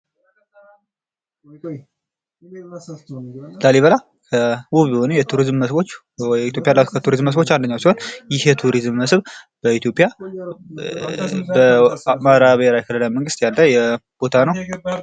ላሊበላ ውብ የሆነ የቱሪዝም መስህቦች ኢትዮጵያ ካሏት የቱሪዝም መስህብ አንደኛው ሲሆን ይህ የቱሪዝም መስህብ በኢትዮጵያ በአማራ ብሔራዊ ክልላዊ መንግስት ያለ ቦታ ነው።